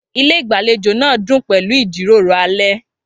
Ilé ìgbàlejò náà dún pẹ̀lú ìjíròrò alẹ́.